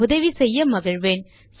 உதவி செய்ய மகிழ்வேன்